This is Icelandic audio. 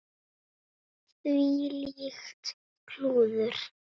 Þvílíkt klúður.